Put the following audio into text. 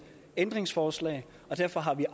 ændringsforslag og derfor har vi